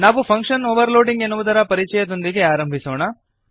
ನಾವು function overloading ಎನ್ನುವುದರ ಪರಿಚಯದೊಂದಿಗೆ ಆರಂಭಿಸೋಣ